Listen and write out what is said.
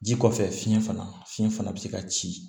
Ji kɔfɛ fiɲɛ fana fiyɛn fana bɛ se ka ci